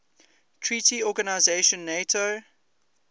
treaty organization nato